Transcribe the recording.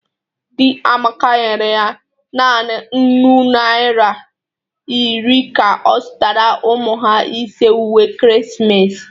Di Amaka nyere ya nanị nnụ naịra iri ka ọ zụtara ụmụ ha ise uwe ekeresimesi